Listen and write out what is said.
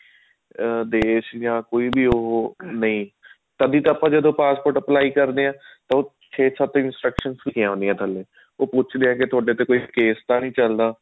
ਦੇਸ਼ ਆਂ ਕੋਈ ਵੀ ਨਹੀ ਤਦੇ ਤਾਂ ਆਪਾਂ ਜਦੋਂ passport apply ਕਰਦੇ ਹਾਂ ਤਾਂ ਉੱਥੇ ਸਖਤ instructions ਲਿਖੀਆਂ ਹੁੰਦੀਆਂ ਥੱਲੇ ਉਹ ਪੁਛ ਲਿਆ ਤੁਹਾਡੇ ਤੇ ਕੋਈ case ਤਾਂ ਨੀ ਚੱਲਦਾ